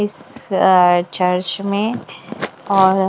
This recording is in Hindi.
इस चर्च में और --